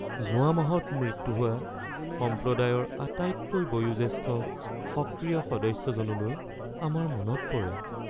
যোৱা মাহত মৃত্যু হোৱা সম্প্ৰদায়ৰ আটাইতকৈ বয়োজ্যেষ্ঠ সক্ৰিয় সদস্যজনলৈ আমাৰ মনত পৰে